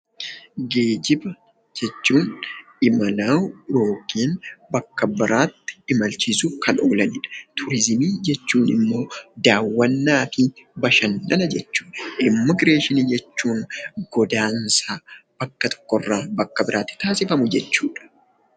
Geejiba jechuun imala yookiin bakka biraatti imalchiisuuf kan oolanidha. Turizimii jechuun immoo daawwannaa fi bashannana jechuudha. Immigireeshinii jechuun godaansa bakka tokko irraa bakka biraatti taasifamu jechuudha.